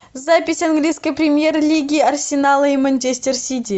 запись английской премьер лиги арсенала и манчестер сити